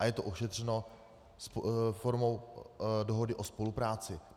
A je to ošetřenou formou dohody o spolupráci.